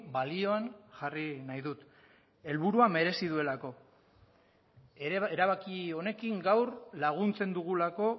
balioan jarri nahi dut helburuak merezi duelako erabaki honekin gaur laguntzen dugulako